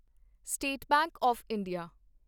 state Bank of India